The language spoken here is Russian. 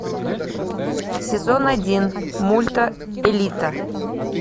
сезон один мульта элита